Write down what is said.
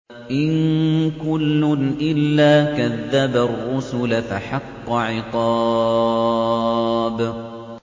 إِن كُلٌّ إِلَّا كَذَّبَ الرُّسُلَ فَحَقَّ عِقَابِ